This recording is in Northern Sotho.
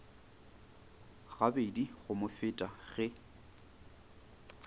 gabedi go mo feta ge